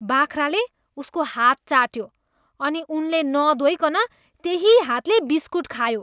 बाख्राले उसको हात चाट्यो अनि उनले नधोइनकन त्यही हातले बिस्किट खायो।